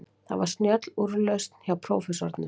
Það var snjöll úrlausn hjá prófessornum.